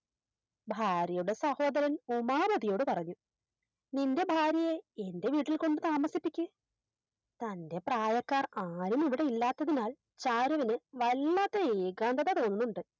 ഭാര്യയുടെ സഹോദരൻ ഉമാപതിയോട് പറഞ്ഞു നിൻറെ ഭാര്യയെ എൻറെ വീട്ടിൽ കൊണ്ട് താമസിപിക്ക് തൻറെ പ്രായക്കാർ ആരുമിവിടെ ഇല്ലാത്തതിനാൽ ചാരുവിന് വല്ലാത്ത ഏകാന്തത തോന്നുന്നുണ്ട്